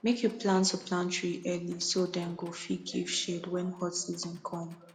make you plan to plant tree early so dem go fit give shade when hot season come